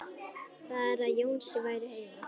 Bara að Jónsi væri heima.